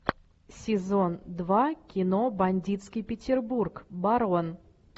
сезон два кино бандитский петербург барон